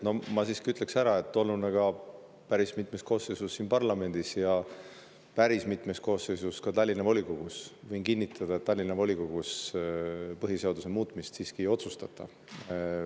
No ma siiski, olles olnud päris mitmes koosseisus siin parlamendis ja päris mitmes koosseisus ka Tallinna volikogus, võin kinnitada, et Tallinna volikogus põhiseaduse muutmist ei otsustata.